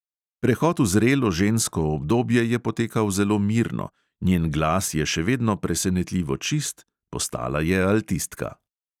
Prehod v zrelo žensko obdobje je potekal zelo mirno, njen glas je še vedno presenetljivo čist, postala je altistka.